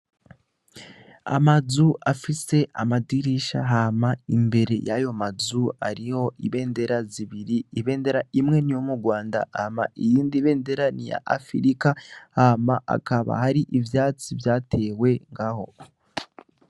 Amazu afise amadirisha hama imbere yayo mazu ariho ibendera zibiri ibendera imwe ni yo mu rwanda ama iyindi benderani ya afirika hama akaba hari ivyatsi vyatewe nga ho.